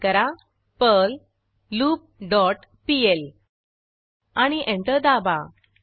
type करा Perl loop dot PL आणि enter दाबा